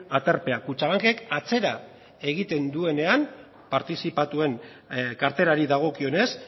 aterpea kutxabank ek atzera egiten duenean partizipatuen karterari dagokionez